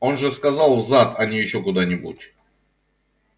он же сказал в зад а не ещё куда-нибудь